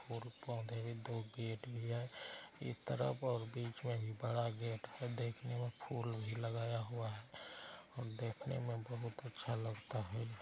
और पौधे दो गेट भी है इस तरफ और बीच में बड़ा गेट है देखने में फूल भी लगाया हुआ है और देखने में बहुत अच्छा लगता है।